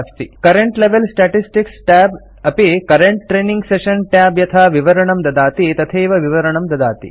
current level statistics tab अपि current training session tab यथा विवरणं ददाति तथैव विवरणं ददाति